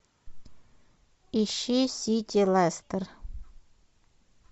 ищи сити лестер